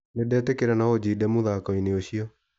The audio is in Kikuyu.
Nĩndetĩkĩra no ũnjinde mũthako-inĩ ũcio.